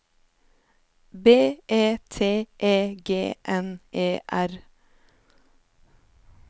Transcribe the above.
B E T E G N E R